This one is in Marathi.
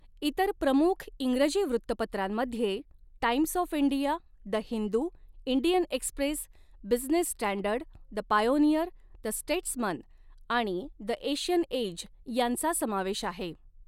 इतर प्रमुख इंग्रजी वृत्तपत्रांमध्ये Times of India, the Hindu, Indian Express, Business Standard, the Pioneer, the Statesman आणि द एशियन एज यांचा समावेश आहे.